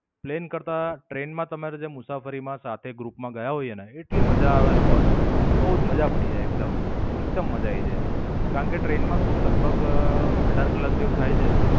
Plane કરતા train માં તમારી જે મુસાફરી માં સાથે group માં ગયા હોઈએ ને એ એટલી મજા આવે ને બોસ બોવ જ મજા પડી જાય એકદમ. એકદમ મજા આયી જાય. કારણ કે, ટ્રેન માં શું લગભગ અઢાર કલાક જેવું થાય છે.